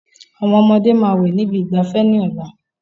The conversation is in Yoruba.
Àwọn ọmọdé máa wẹ̀ ní ibi ìgbafẹ́ ní ọ̀la